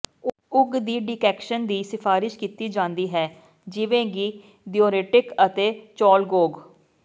ਉਗ ਦੇ ਡੀਕੋੈਕਸ਼ਨ ਦੀ ਸਿਫਾਰਸ਼ ਕੀਤੀ ਜਾਂਦੀ ਹੈ ਜਿਵੇਂ ਕਿ ਦਿਔਰਟਿਕ ਅਤੇ ਚੋਲਗੋਗ